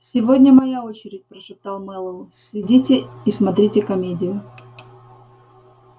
сегодня моя очередь прошептал мэллоу сидите и смотрите комедию